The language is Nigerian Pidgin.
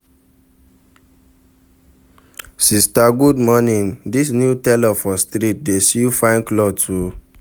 Sista good morning, dis new tailor for street dey sew fine clothes o.